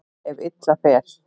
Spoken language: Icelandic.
Ef illa fer.